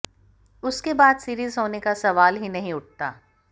उसके बाद सीरीज होने का सवाल ही नहीं उठता